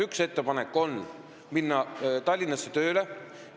Üks ettepanek on Tallinnasse tööle minna.